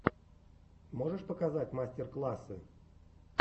можешь показать мастер классы